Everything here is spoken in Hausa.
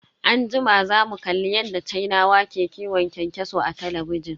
Anjima zamu kalli yadda sinawa ke kiwon kyankyaso a talabijin.